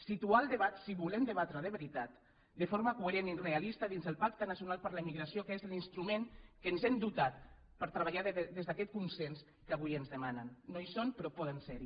situar el debat si volem debatre de veritat de forma coherent i realista dins del pacte nacional per a la immigració que és l’instrument de què ens hem dotat per treballar des d’aquest consens que avui es demanen no hi són però poden ser hi